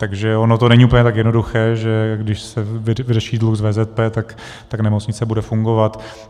Takže ono to není úplně tak jednoduché, že když se vyřeší dluh s VZP, tak nemocnice bude fungovat.